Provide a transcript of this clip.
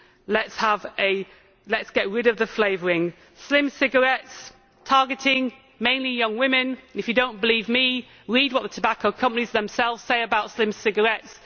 Let us get rid of the flavouring. Slim cigarettes targeting mainly young women if you do not believe me, read what the tobacco companies themselves say about slim cigarettes.